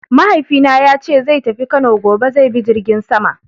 Mahaifina yace zai tafi Kano gobe; zai bi jirgin sama.